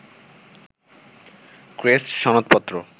crest, সনদপত্র